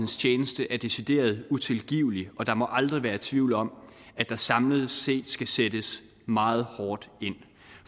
tjeneste er decideret utilgivelig og der må aldrig være tvivl om at der samlet set skal sættes meget hårdt ind